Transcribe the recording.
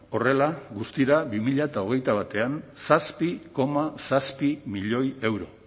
horrela guztira bi mila hogeita batean zazpi koma zazpi milioi euro